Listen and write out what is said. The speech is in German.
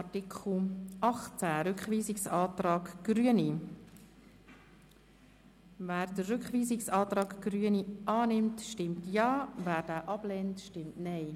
Wer den Rückweisungsantrag Grüne zu Artikel 18 annimmt, stimmt Ja, wer diesen ablehnt, stimmt Nein.